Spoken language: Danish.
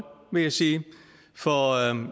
vil jeg sige for